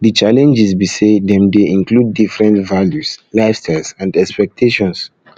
di challenges be say dem dey include diferent values lifestyles and expectations